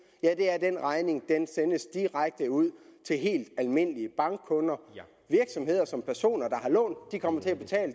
ja det er at den regning sendes direkte ud til helt almindelige bankkunder virksomheder som personer der har lånt kommer til at betale